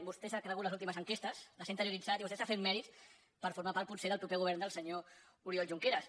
vostè s’ha cregut les últimes enquestes les ha interioritzat i vostè està fent mèrits per formar part potser del proper go·vern del senyor oriol junqueras